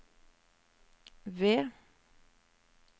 ved